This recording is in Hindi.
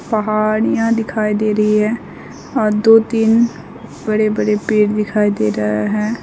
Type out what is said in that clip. पहाड़ियां दिखाई दे रही है और दो तीन बड़े बड़े पेड़ दिखाई दे रहा है।